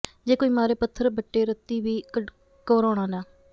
ਜੇ ਕੋਈ ਮਾਰੇ ਪੱਥਰ ਬੱਟੇ ਰੱਤੀ ਵੀ ਘਵਰਾਉਣਾ ਨਾ